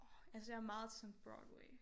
Orh altså jeg er meget til sådan Broadway